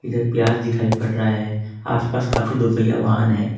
प्याज दिखाई पड़ रहा है आसपास काफी दोपहिया वाहन हैं।